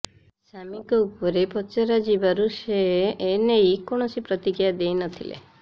ସାମିଙ୍କ ଉପରେ ପଚରାଯିବାରୁ ସେ ଏନେଇ କୌଣସି ପ୍ରତିକ୍ରିୟା ଦେଇ ନ ଥିଲେ